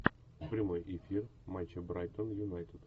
прямой эфир матча брайтон юнайтед